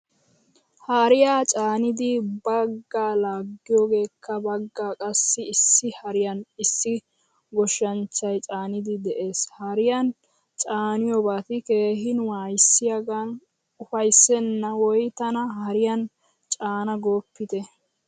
Hariyaa caanidi baggaa laagiyogekka baggaa qassi issi hariyan issi goshshanchchay caanidi de'ees. Hariyan caaniyobati keehin wayssiyagan ufaysena woy tana haariyan caana goppite.